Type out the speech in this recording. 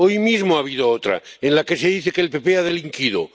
Hoy mismo ha habido otra en la que se dice que el PP ha delinquido.